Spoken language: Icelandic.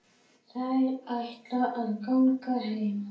Þær ætla að ganga heim.